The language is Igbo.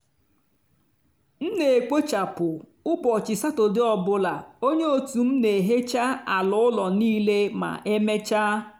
m n'ekpochapụ ụbọchị satọde ọ bụla onye otu m n'ehecha ala ụlọ niile ma emechaa.